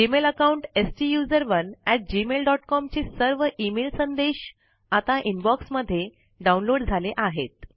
Gmail account स्टुसरोने gmailकॉम चे सर्व इमेल संदेश आता इनबॉक्स मध्ये डाउनलोड झाले आहेत